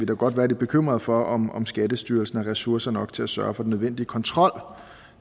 godt være bekymret for om om skattestyrelsen har ressourcer nok til at sørge for den nødvendige kontrol